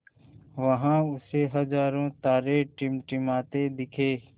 वहाँ उसे हज़ारों तारे टिमटिमाते दिखे